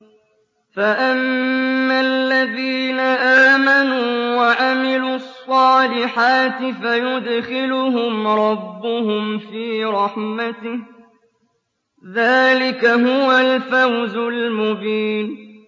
فَأَمَّا الَّذِينَ آمَنُوا وَعَمِلُوا الصَّالِحَاتِ فَيُدْخِلُهُمْ رَبُّهُمْ فِي رَحْمَتِهِ ۚ ذَٰلِكَ هُوَ الْفَوْزُ الْمُبِينُ